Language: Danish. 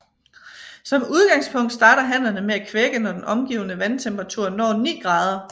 Som udgangspunkt starter hannerne med at kvække når den omgivende vandtemperatur når 9 grader